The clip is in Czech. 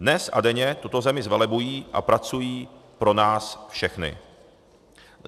Dnes a denně tuto zemi zvelebují a pracují pro nás všechny.